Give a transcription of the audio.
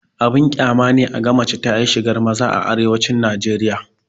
Abin ƙyama ne a ga mace ta yi shigar maza a arewacin najeriya